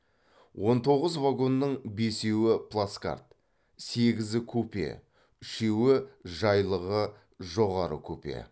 он тоғыз вагонның бесеуі плацкарт сегізі купе үшеуі жайлылығы жоғары купе